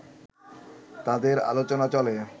তাদের অলোচনা চলে